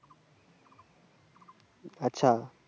আচ্ছা